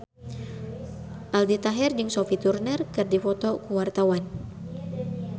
Aldi Taher jeung Sophie Turner keur dipoto ku wartawan